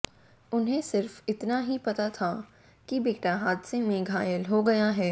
उन्हें सिर्फ इतना ही पता था कि बेटा हादसे में घायल हो गया है